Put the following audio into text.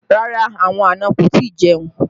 Rárá, àwọn àna kò tí ì jẹun